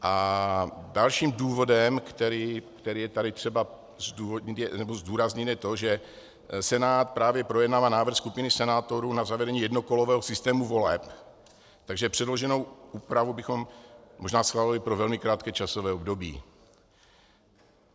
A dalším důvodem, který je tady třeba zdůraznit, je to, že Senát právě projednává návrh skupiny senátorů na zavedení jednokolového systému voleb, takže předloženou úpravu bychom možná schválili pro velmi krátké časové období.